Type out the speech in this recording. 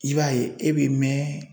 I b'a ye e bɛ mɛn